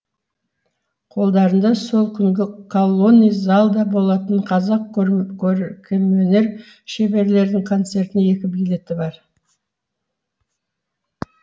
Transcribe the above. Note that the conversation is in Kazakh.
қолдарында сол күнгі колонный залда болатын қазақ көркемөнер шеберлерінің концертіне екі билеті бар